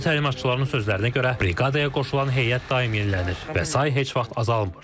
Hərbi təlimatçıların sözlərinə görə, briqadaya qoşulan heyət daim yenilənir və sayı heç vaxt azalmır.